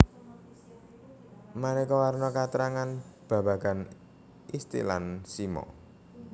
Maneka warna katrangan babagan istilan simo